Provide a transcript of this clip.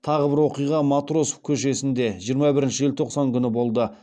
тағы бір оқиға матросов көшесінде жиырма бірінші желтоқсан күні болды